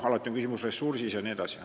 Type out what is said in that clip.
Alati on küsimus ressursis jne.